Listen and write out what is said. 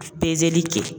Pezeli kɛ